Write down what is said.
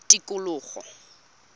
tikologo